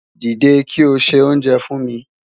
Dide ki o se onjè fun mi